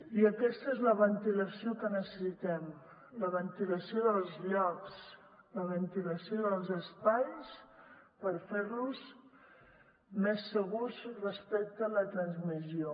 i aquesta és la ventilació que necessitem la ventilació dels llocs la ventilació dels espais per fer los més segurs respecte a la transmissió